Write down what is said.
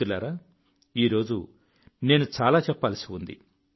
మిత్రులారా ఈ రోజు నేను చాలా చెప్పవలసి ఉంది